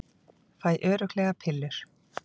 Fæ örugglega pillur